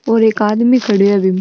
एक आदमी खड़ो है बीम।